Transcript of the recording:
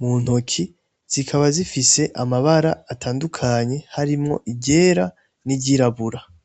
mu ntoki zikaba zifise amabara atandukanye harimwo iryera n'iryirabura.